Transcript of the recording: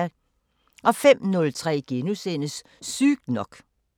05:03: Sygt nok *